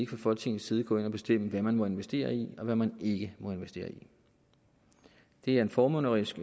fra folketingets side gå ind og bestemme hvad man må investere i og hvad man ikke må investere i det er en formynderisk